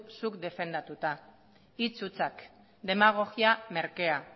zuk defendatuta hitz hutsak demagogia merkea